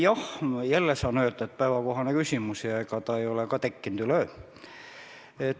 Jah, jälle saan öelda, et päevakohane küsimus ja ega ta ei ole tekkinud üleöö.